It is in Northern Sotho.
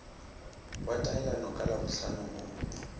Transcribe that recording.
wa taelano ka labohlano o